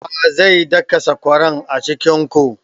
Wa zai daka sakwaran a cikin ku?